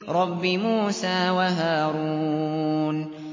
رَبِّ مُوسَىٰ وَهَارُونَ